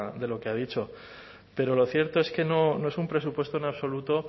de lo que ha dicho pero lo cierto es que no es un presupuesto en absoluto